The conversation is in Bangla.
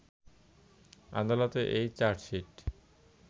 আদালতে এ চার্জশিট